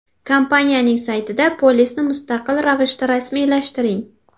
Kompaniyaning saytida polisni mustaqil ravishda rasmiylashtiring!